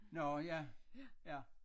Nå ja ja